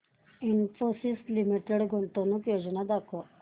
Infosys limited गुंतवणूक योजना दाखव